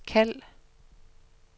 kald